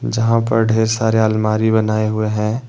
जहां पर ढ़ेर सारे अलमारी बनाए हुए हैं।